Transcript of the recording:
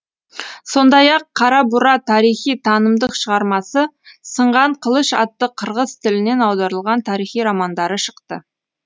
сондай ақ қарабура тарихи танымдық шығармасы сынған қылыш атты қырғыз тілінен аударылған тарихи романдары шықты